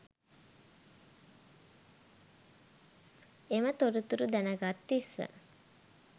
එම තොරතුරු දැන්ගත් තිස්ස